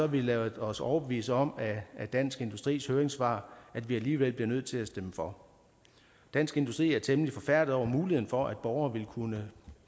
vi ladet os overbevise om af dansk industris høringssvar at vi alligevel bliver nødt til at stemme for dansk industri er temmelig forfærdede over muligheden for at borgere vil kunne